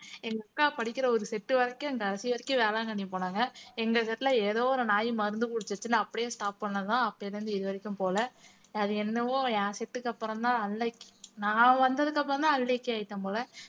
எங்க அக்கா படிக்கிற ஒரு set வரைக்கும் வரைக்கும் வேளாங்கண்ணி போனாங்க எங்க set ல ஏதோ ஒரு நாய் மருந்து குடிச்சிருச்சுன்னு அப்படியே stop பண்ணதுதான் அப்பைல இருந்து இது வரைக்கும் போல அது என்னவோ என் set க்கு அப்புறம்தான் unlucky நான் வந்ததுக்கு அப்புறம்தான் unlucky ஆயிட்டேன் போல